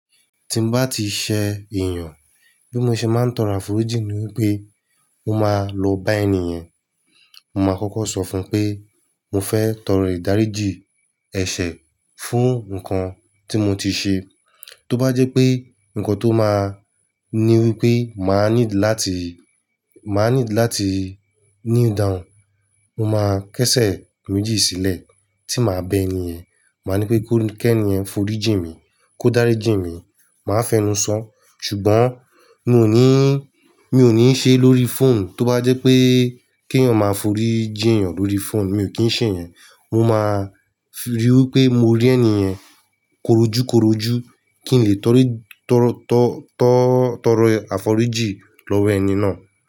Tí mo bá ti ṣẹ èèyàn, bí mo ṣe máa ń tọrọ àforíjì ni wípé mó máa lọ bá ènìyàn. Mo máa kọ́kọ́ sọ fún un pé mo fẹ́ tọrọ ìdáríjì ẹ̀ṣẹ̀ fún nǹkan tí mo ti ṣe. Tó bá jẹ́ pé nǹkan tó máa ní wípé màá need láti, màá need láti kneel down, mo máa kẹ́sẹ̀ méjì sílẹ̀ tí màá bẹ ènìyàn. Màá ní pé kó kẹ́ni ẹ foríjì mi, kó dáríjì mi. Màá fẹnu sọ́. Ṣùgbọ́n mi ò ní, mi ò ní ṣe é lórí phone. Tó bá jẹ́ pé kí ènìyàn máa foríjì ènìyàn lórí phone, mi ò kí ń ṣe èyẹn. Mo máa rí wípé mo rí ẹni yẹn korojúkorojú kí n lè t'ori, tọrọ, tọ́, tọ́, tọrọ àforíjì lọ́wọ́ ẹni náà.